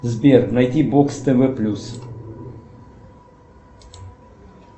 сбер найди бокс тв плюс